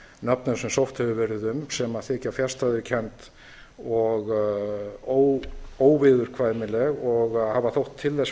nöfnum sem sótt hefur verið um sem þykja fjarstæðukennd og óviðurkvæmileg og hafa þótt til þess